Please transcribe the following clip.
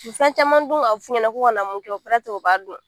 U bɛ fɛn caman dun a bɛ f'u ɲɛna k'u kana mun kɛ o barata u b'a dun